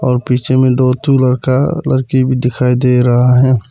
और पीछे में दो ठो लड़का लड़की भी दिखाई दे रहा है।